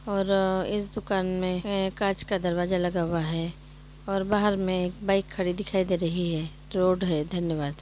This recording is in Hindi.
और आ इस दुकान में एक कांच का दरवाजा लगा हुआ है और बाहर में एक बाइक खड़ी दिखाई दे रही है। रोड है धन्यवाद।